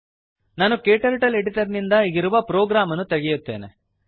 ನಾನು KTurtle editor ನಿಂದ ಈಗಿರುವ ಪ್ರೋಗ್ರಾಮ್ ಅನ್ನು ತೆಗೆಯುತ್ತೇನೆ